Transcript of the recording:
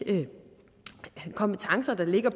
kompetencer der ligger